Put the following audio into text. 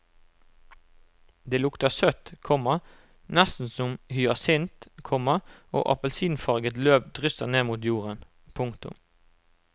Det lukter søtt, komma nesten som hyasint, komma og appelsinfarget løv drysser ned mot jorden. punktum